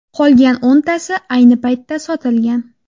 Qolgan o‘ntasi ayni paytda sotilgan.